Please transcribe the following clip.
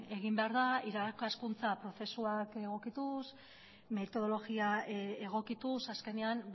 egin behar da irakaskuntza prozesuak egokituz metodologia egokituz azkenean